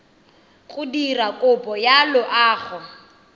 go dira kopo ya loago